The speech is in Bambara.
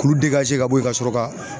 K'ulu ka bɔ ye ka sɔrɔ ka